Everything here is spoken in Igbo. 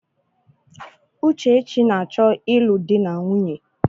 Uchechi na-achọ ịlụ di na nwunye.